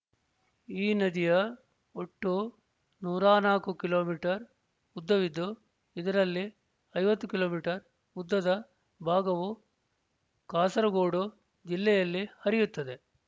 ಈ ನದಿಯ ಒಟ್ಟು ನೂರ ನಾಲ್ಕು ಕಿಲೋಮೀಟರ್ ಉದ್ದವಿದ್ದು ಇದರಲ್ಲಿ ಐವತ್ತು ಕಿಲೋಮೀಟರ್ ಉದ್ದದ ಭಾಗವು ಕಾಸರಗೋಡು ಜಿಲ್ಲೆಯಲ್ಲಿ ಹರಿಯುತ್ತದೆ